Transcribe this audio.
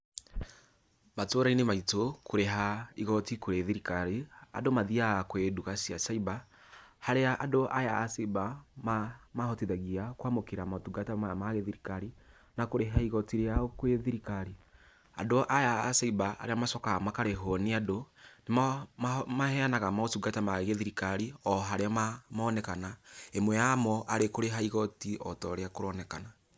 Matũra-inĩ maitũ, kũrĩha igoti kũrĩ thirikari, andũ mathiaga kwĩ nduka cia cyber, harĩa andũ aya a cyber mamahotithagia kwamũkĩra motungata maya ma gĩthirikari, na kũrĩha igoti rĩao kwĩ thirikari. Andũ aya a cyber arĩa macokaga makarĩhwo nĩ andũ, nĩmaheanaga motungata ma gĩthirikari, o harĩa monekana. Ĩmwe yamo arĩ kũrĩha igoti ota ũrĩa kũronekana.